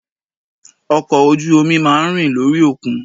Ọkọ̀ ojú omi má a ń rìn lórí òkun